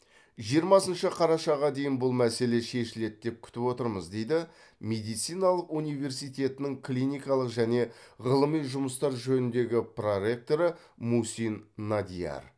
жиырмасыншы қарашаға дейін бұл мәселе шешіледі деп күтіп отырмыз дейді медициналық университетінің клиникалық және ғылыми жұмыстар жөніндегі проректоры мусин надиар